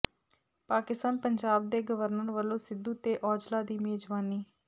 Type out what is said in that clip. ਪਾਕਿਸਤਾਨ ਪੰਜਾਬ ਦੇ ਗਵਰਨਰ ਵੱਲੋਂ ਸਿੱਧੂ ਤੇ ਔਜਲਾ ਦੀ ਮੇਜ਼ਬਾਨੀ